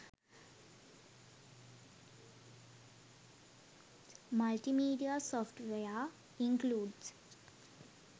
multimedia software includes